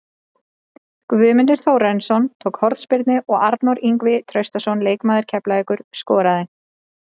Guðmundur Þórarinsson tók hornspyrnu og Arnór Ingvi Traustason, leikmaður Keflavíkur, skoraði.